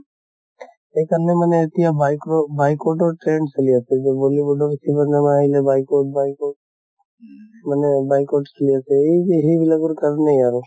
সেই কাৰণে মানে এতিয়া বায় কʼ, boycott ৰ trend চলি আছে যে bollywood কিবা নামা আহিলে boycott boycott মানে boycott চলি আছে। সেই যে সেই বিলাকৰ কাৰণে।